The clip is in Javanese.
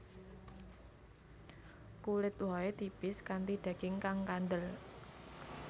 Kulit wohé tipis kanthi daging kang kandel